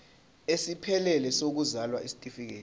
esiphelele sokuzalwa isitifikedi